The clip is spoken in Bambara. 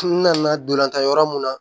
N nana dolonlantan yɔrɔ mun na